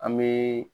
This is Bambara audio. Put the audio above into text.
An bɛ